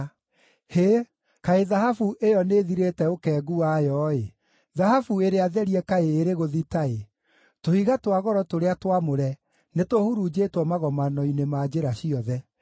Hĩ! Kaĩ thahabu ĩyo nĩĩthirĩte ũkengu wayo-ĩ, thahabu ĩrĩa therie kaĩ ĩrĩ gũthita-ĩ! Tũhiga twa goro tũrĩa twamũre nĩtũhurunjĩtwo magomano-inĩ ma njĩra ciothe.